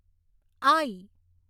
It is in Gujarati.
આઈ